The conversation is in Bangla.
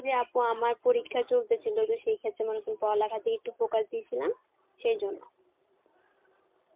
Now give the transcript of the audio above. যে আপু আমার পরীক্ষা চলতেছিল এবার সেই ক্ষেত্রে মানে একটু পড়ালেখার দিকে একটু focus দিয়েছিলাম সেই জন্য.